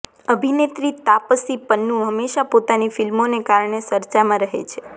અભિનેત્રી તાપસી પન્નુ હમેંશા પોતાની ફિલ્મોને કારણે ચર્ચામાં રહે છે